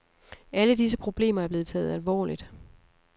Alle disse problemer er blevet taget alvorligt.